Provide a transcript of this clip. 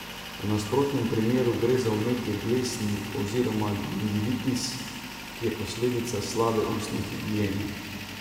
V nasprotnem primeru gre za vnetje dlesni oziroma gingivitis, ki je posledica slabe ustne higiene.